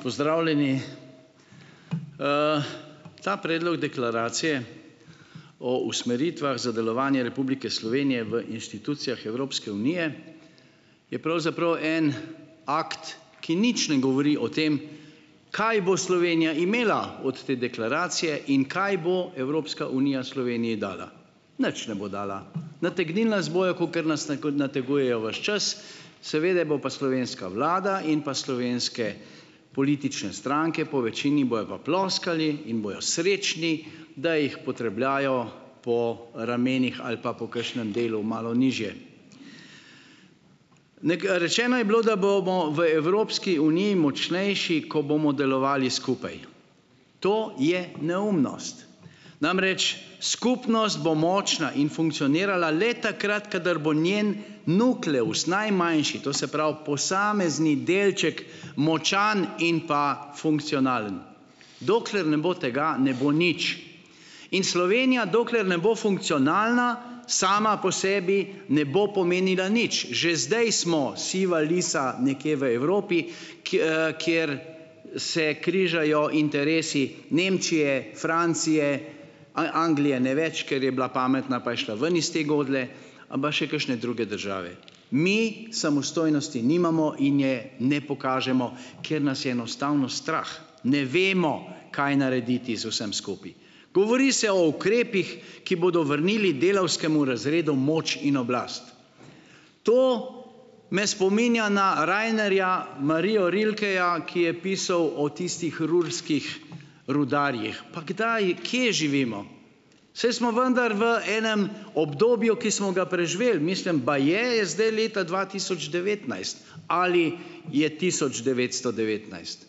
Pozdravljeni! Ta predlog deklaracije o usmeritvah za delovanje Republike Slovenije v inštitucijah Evropske unije je pravzaprav en akt, ki nič ne govori o tem, kaj bo Slovenija imela odt te deklaracije in kaj bo Evropska unija Sloveniji dala. Nič ne bo dala. Nategnili nas bojo, kakor nas nategujejo ves čas, seveda bo pa slovenska vlada in pa slovenske politične stranke, po večini bojo pa ploskali in bojo srečni, da jih potrepljajo po ramenih ali pa po kakšnem delu malo nižje. rečeno je bilo, da bomo v Evropski uniji močnejši, ko bomo delovali skupaj. To je neumnost. Namreč skupnost bo močna in funkcionirala le takrat, kadar bo njen nukleus, najmanjši, to se pravi, posamezni delček močan in pa funkcionalen. Dokler ne bo tega, ne bo nič. In Slovenija dokler ne bo funkcionalna, sama po sebi ne bo pomenila nič. Že zdaj smo siva lisa nekje v Evropi, kjer se križajo interesi Nemčije, Francije, aj Anglije ne več, ker je bila pametna, pa je šla ven iz te godlje, aba še kakšne druge države. Mi samostojnosti nimamo in je ne pokažemo, ker nas je enostavno strah, ne vemo, kaj narediti z vsem skupaj. Govori se o ukrepih, ki bodo vrnili delavskemu razredu moč in oblast. To me spominja na Rainerja Mario Rilkeja, ki je pisal o tistih ruhrskih rudarjih. Pa kdaj, kje živimo? Saj smo vendar v enem obdobju, ki smo ga preživeli. Mislim, baje je zdaj leta dva tisoč devetnajst ali je tisoč devetsto devetnajst.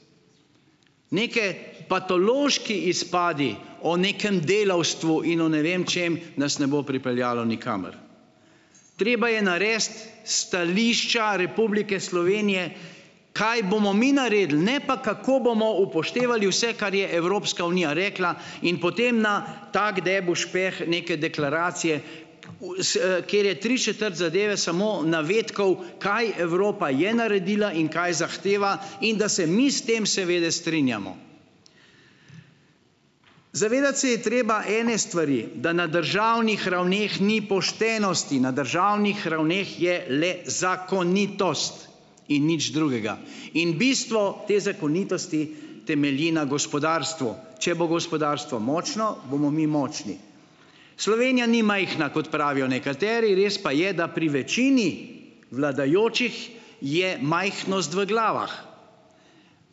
Neki patološki izpadi o nekem delavstvu in o ne vem čem nas ne bo pripeljalo nikamor. Treba je narediti stališča Republike Slovenije, kaj bomo mi naredili, ne pa kako bomo upoštevali vse, kar je Evropska unija rekla, in potem na tak debel špeh neke deklaracije, kjer je tri četrt zadeve samo navedkov, kaj Evropa je naredila in kaj zahteva, in da se mi s tem seveda strinjamo. Zavedati se je treba ene stvari, da na državnih ravneh ni poštenosti. Na državnih ravneh je le zakonitost in nič drugega. In bistvo te zakonitosti temelji na gospodarstvu. Če bo gospodarstvo močno, bomo mi močni. Slovenija ni majhna, kot pravijo nekateri, res pa je, da pri večini vladajočih je majhnost v glavah.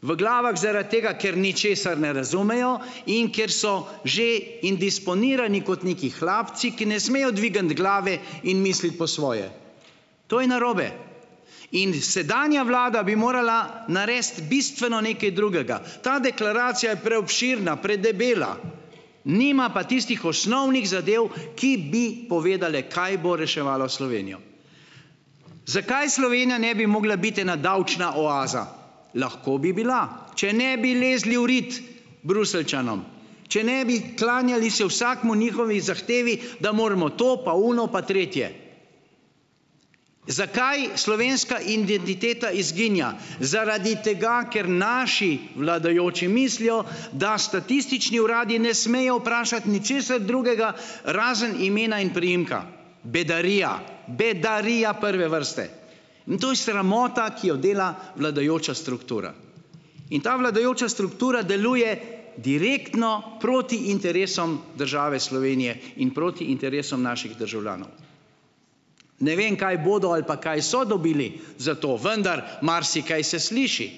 V glavah zaradi tega, ker ničesar ne razumejo in ker so že indisponirani kot neki hlapci, ki ne smejo dvigniti glave in misliti po svoje. To je narobe. In sedanja vlada bi morala narediti bistveno nekaj drugega, ta deklaracija je preobširna, predebela, nima pa tistih osnovnih zadev, ki bi povedala, kaj bo reševalo Slovenijo. Zakaj Slovenija ne bi mogla biti ena davčna oaza lahko bi bila, če ne bi lezli v rit Bruseljčanom. Če ne bi klanjali se vsakemu njihovi zahtevi, da moramo to pa ono pa tretje. Zakaj slovenska identiteta izginja? Zaradi tega, ker naši vladajoči mislijo, da statistični uradi ne smejo vprašati ničesar drugega, razen imena in priimka. Bedarija! Bedarija prve vrste! In to je sramota, ki jo dela vladajoča struktura. In ta vladajoča struktura deluje direktno proti interesom države Slovenije in proti interesom naših državljanov. Ne vem, kaj bodo ali pa kaj so dobili za to, vendar marsikaj se sliši.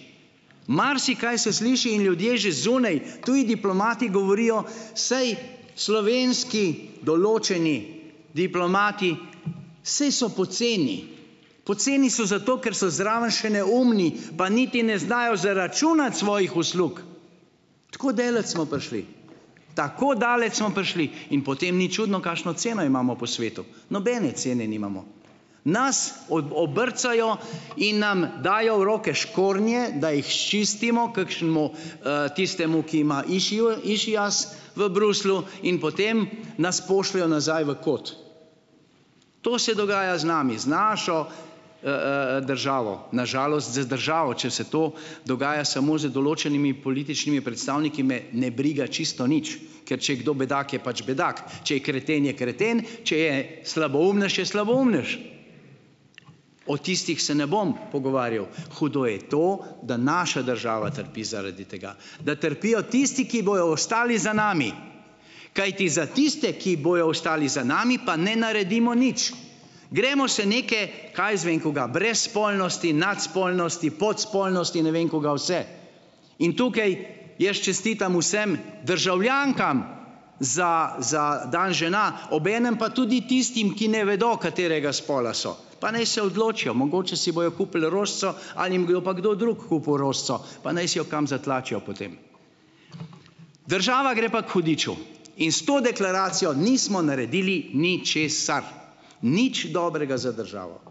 Marsikaj se sliši in ljudje že zunaj, tudi diplomati, govorijo: "Sej, slovenski določeni diplomati saj so poceni." Poceni so zato, ker so zraven še neumni, pa niti ne znajo zaračunati svojih uslug, tako daleč smo prišli. Tako daleč smo prišli in potem ni čudno, kakšno ceno imamo po svetu, nobene cene nimamo. Nas obrcajo in nam dajo v roke škornje, da jih sčistimo, kakšnemu, tistemu, ki ima išias v Bruslju, in potem nas pošljejo nazaj v kot. To se dogaja z nami, z našo, državo, na žalost, z državo. Če se to dogaja samo z določenimi političnimi predstavniki, me ne briga čisto nič, ker če je kdo bedak, je pač bedak, če je kreten, je kreten, če je slaboumnež, je slaboumnež, o tistih se ne bom pogovarjal. Hudo je to, da naša država trpi zaradi tega. Da trpijo tisti, ki bojo ostali za nami. Kajti za tiste, ki bojo ostali za nami, pa ne naredimo nič. Gremo se neke, kaj jaz vem kaj, brezspolnosti, nadspolnosti, podspolnosti, ne vem kaj vse. In tukaj jaz čestitam vsem državljankam za za dan žena, obenem pa tudi tistim, ki ne vedo, katerega spola so; pa naj se odločijo, mogoče si bojo kupili rožico ali jim bo pa kdo drug kupil rožico, pa naj si jo kam zatlačijo potem. Država gre pa k hudiču. In s to deklaracijo nismo naredili ničesar, nič dobrega za državo,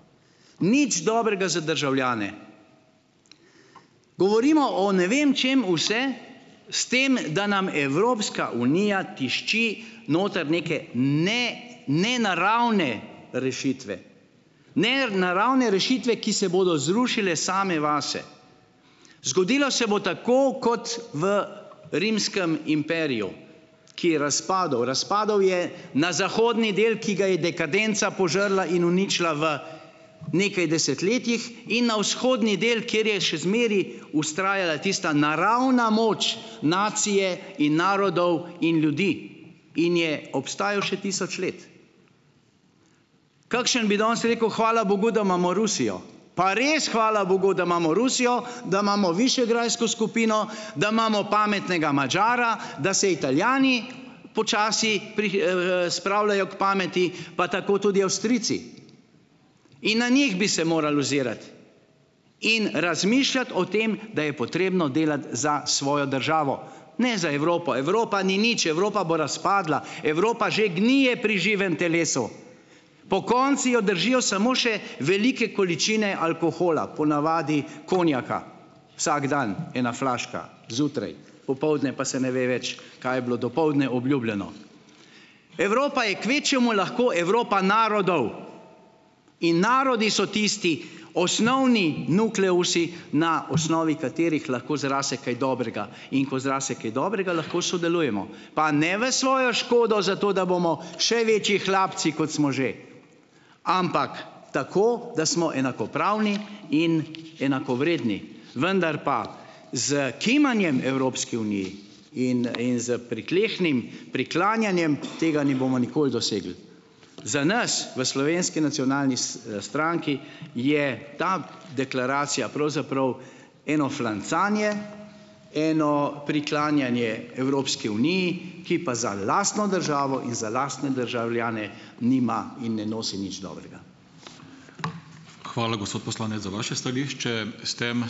nič dobrega za državljane. Govorimo o ne vem čem vse, s tem da nam Evropska unija tišči noter neke nenaravne rešitve, nenaravne rešitve, ki se bodo zrušile same vase. Zgodilo se bo tako kot v rimskem imperiju, ki je razpadel. Razpadel je na zahodni del, ki ga je dekadenca požrla in uničila v nekaj desetletjih, in na vzhodni del, kjer je še zmeraj vztrajala tista naravna moč nacije in narodov in ljudi, in je obstajal še tisoč let. Kakšen bi danes rekel, hvala bogu, da imamo Rusijo, pa res hvala bogu, da imamo Rusijo, da imamo višegrajsko skupino, da imamo pametnega Madžara, da se Italijani počasi spravljajo k pameti, pa tako tudi Avstrijci. In na njih bi se morali ozirati in razmišljati o tem, da je potrebno delati za svojo državo. Ne za Evropo, Evropa ni nič, Evropa bo razpadla, Evropa že gnije pri živem telesu. Pokonci jo držijo samo še velike količine alkohola, ponavadi konjaka, vsak dan ena flaška zjutraj, popoldne pa se ne ve več, kaj je bilo dopoldne obljubljeno. Evropa je kvečjemu lahko Evropa narodov in narodi so tisti osnovni nukleusi, na osnovi katerih lahko zraste kaj dobrega. In ko zraste kaj dobrega, lahko sodelujemo, pa ne v svojo škodo, zato da bomo še večji hlapci, kot smo že, ampak tako, da smo enakopravni in enakovredni. Vendar pa s kimanjem Evropski uniji in in s pritlehnim priklanjanjem tega ne bomo nikoli dosegli. Za nas v Slovenski nacionalni stranki je ta deklaracija pravzaprav eno flancanje, eno priklanjanje Evropski uniji, ki pa za lastno državo in za lastne državljane nima in ne nosi nič dobrega. Hvala, gospod poslanec, za vaše stališče, s tem ...